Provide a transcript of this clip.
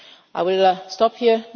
I will stop